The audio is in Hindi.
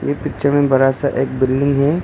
पिक्चर में बड़ा सा एक बिल्डिंग है।